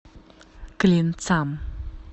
клинцам